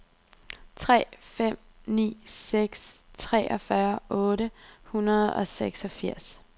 tre fem ni seks treogfyrre otte hundrede og seksogfirs